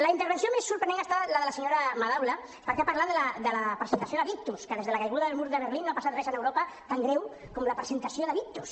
la intervenció més sorprenent ha estat la de la senyora madaula perquè ha parlat de la presentació de victus que des de la caiguda del mur de berlín no ha passat res a europa tan greu com la presentació de victus